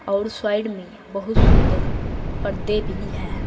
और साइड में बहुत सुंदर पर्दे भी है।